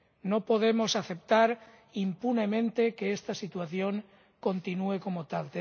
No podemos aceptar impunemente que esta situación continúe como tal.